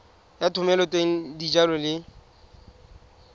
ya thomeloteng ya dijalo le